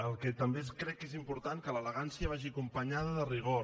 el que també crec que és important és que l’elegància vagi acompanyada de rigor